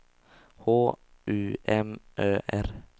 H U M Ö R